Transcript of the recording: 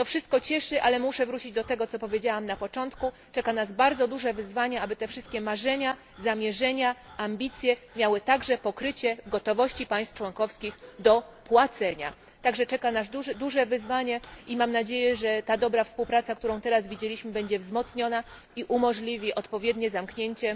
To wszystko cieszy, ale muszę wrócić do tego, co powiedziałam na początku czeka nas bardzo duże wyzwanie, aby te wszystkie marzenia, zamierzenia, ambicje miały także pokrycie w gotowości państw członkowskich do płacenia. Czeka nas zatem duże wyzwanie i mam nadzieję, że ta dobra współpraca, którą teraz widzieliśmy, będzie wzmocniona i umożliwi odpowiednie zamknięcie